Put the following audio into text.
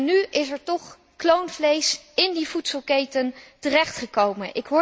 Nu is er toch kloonvlees in die voedselketen terechtgekomen.